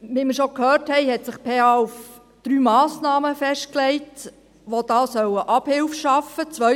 Wie wir schon gehört haben, hat sich die PH auf drei Massnahmen festgelegt, die da Abhilfe schaffen sollen.